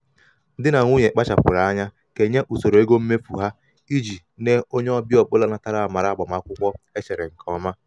di na nwunye kpachapụrụ anya kenye usoro ego mmefu ego mmefu ha iji na onye ọbịa ọbụla natara amara agbamakwụkwọ e chere nke ọma.